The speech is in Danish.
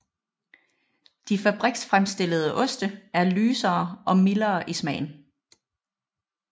De fabriksfremstillede oste er lysere og mildere i smagen